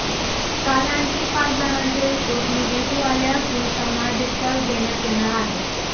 काल आणखी पाच जणांचे रिपोर्ट निगेटिव्ह आले असून त्यांना डिस्चार्ज देण्यात येणार आहे